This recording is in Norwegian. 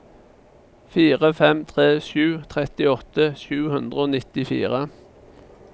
fire fem tre sju trettiåtte sju hundre og nittifire